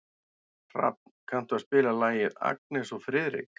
Hrafn, kanntu að spila lagið „Agnes og Friðrik“?